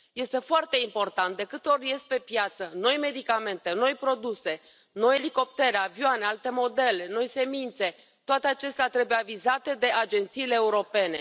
Este foarte important. De câte ori ies pe piață noi medicamente, noi produse, noi elicoptere, avioane, alte modele, noi semințe, toate acestea trebuie avizate de agențiile europene.